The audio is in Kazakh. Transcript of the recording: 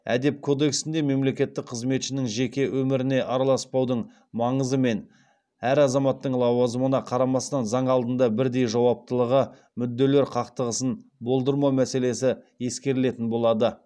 әдеп кодексінде мемлекеттік қызметшінің жеке өміріне араласпаудың маңызы мен әр азаматтың лауазымына қарамастан заң алдында бірдей жауаптылығы мүдделер қақтығысын болдырмау мәселесі ескерілетін болады